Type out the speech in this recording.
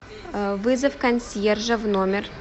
вызов консьержа в номер